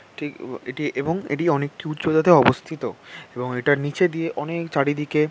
এটি এবং এটি অনেক উচ্চতাতে অবস্থিত এবং এটার নিচে দিয়ে অনেক চারিদিকে--